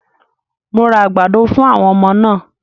Mo ra àgbàdo fún àwọn ọmọ náà